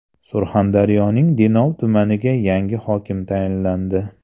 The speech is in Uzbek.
Surxondaryoning Denov tumaniga yangi hokim tayinlandi.